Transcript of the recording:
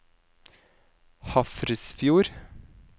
Hafrsfjord